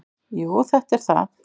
"""Jú, þetta er það."""